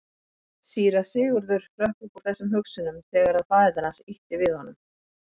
Síra Sigurður hrökk upp úr þessum hugsunum þegar að faðir hans ýtti við honum.